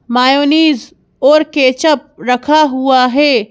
Mayonnaise और ketchup रखा हुआ है।